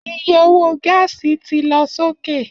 Iye owó gáàsì ti lọ sókè